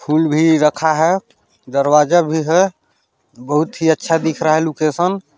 फूल भी रखा हैं दरवाजा भी हैं बोहोत ही अच्छा दिख रहा हैं लोकेशन --